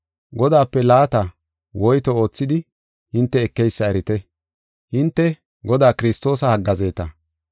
Godaape laata woyto oothidi hinte ekeysa erite; hinte Godaa Kiristoosa haggaazeeta.